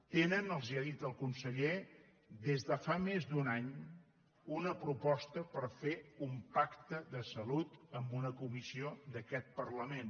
tenen els ho ha dit el conseller des de fa més d’un any una proposta per fer un pacte de salut amb una comissió d’aquest parlament